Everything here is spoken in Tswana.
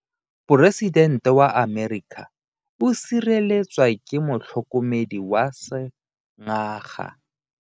Poresitente wa Amerika o sireletswa ke motlhokomedi wa sengaga.